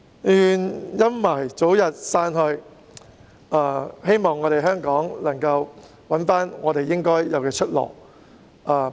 願陰霾早日散去，希望香港能夠找回應有的出路。